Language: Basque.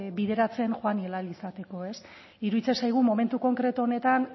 bideratzen joan ahal izateko iruditzen zaigu momentu konkretu honetan